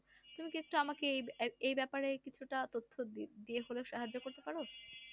তুমি কি আমাকে এই ব্যাপারে কিছুটা তথ্য দিয়ে হলো সাহায্য করতে পারো?